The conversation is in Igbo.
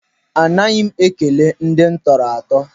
Anaghị m ekele ndị m tọrọ atọ.